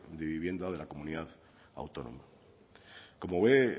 de vivienda de la comunidad autónoma como ve